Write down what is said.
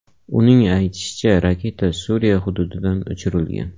Uning aytishicha, raketa Suriya hududidan uchirilgan.